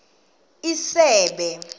isebe